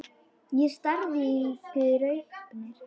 Ég stari í gaupnir mér.